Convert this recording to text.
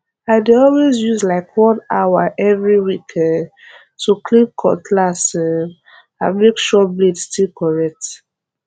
i dey always use like one hour every week um to clean cutlass um and make sure blade still correct